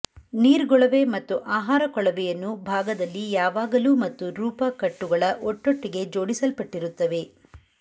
ನೀರ್ಗೊಳವೆ ಮತ್ತು ಆಹಾರ ಕೊಳವೆಯನ್ನು ಭಾಗದಲ್ಲಿ ಯಾವಾಗಲೂ ಮತ್ತು ರೂಪ ಕಟ್ಟುಗಳ ಒಟ್ಟೊಟ್ಟಿಗೆ ಜೋಡಿಸಲ್ಪಟ್ಟಿರುತ್ತವೆ